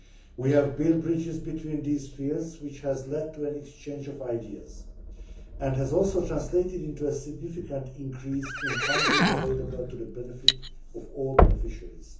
We have built bridges between these fears which has led to an exchange of ideas, and has also translated into a significant increase in the funding available to the benefit of all beneficiaries.